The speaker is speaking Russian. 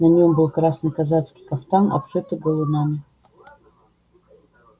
на нём был красный казацкий кафтан обшитый галунами